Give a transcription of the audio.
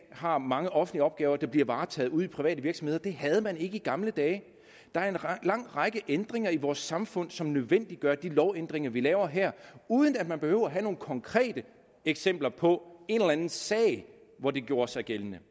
har mange offentlige opgaver der bliver varetaget ude i private virksomheder og det havde man ikke i gamle dage der er en lang række ændringer i vores samfund som nødvendiggør de lovændringer vi laver her uden at man behøver have nogle konkrete eksempler på en eller anden sag hvor det gjorde sig gældende